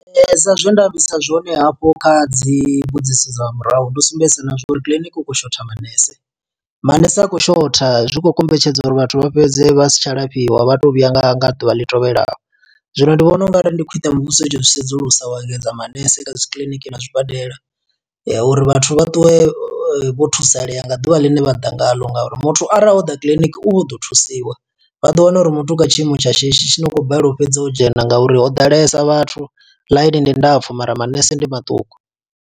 Sa zwe nda ambisa zwone hafho kha dzi mbudziso dza murahu ndo sumbedzisa na zwa uri kiḽiniki hu khou shotha manese. Mmanese a khou shotha zwi khou kombetshedza uri vhathu vha fhedze vha si tsha lafhiwa, vha to vhuya nga nga ḓuvha ḽi tevhelaho. Zwino ndi vhona ungari ndi khwiṋe muvhuso itsho zwi sedzulusa wa engedza manese kha dzi kiḽiniki na zwibadela. Ya, uri vhathu vha ṱuwe vho thusalea nga ḓuvha ḽine vha ḓa ngaḽo. Nga uri muthu arali o ḓa kiḽiniki u vha o ḓo thusiwa, vha ḓo wana uri muthu u kha tshiimo tsha shishi tshine wa khou balelwa u fhedza o dzhena nga uri ho ḓalesa vhathu ḽainini ndapfu, mara manese ndi maṱuku.